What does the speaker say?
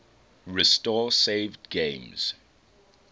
restore saved games